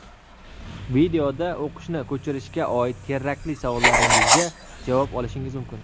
Videoda o‘qishni ko‘chirishga oid kerakli savollaringizga javob olishingiz mumkin.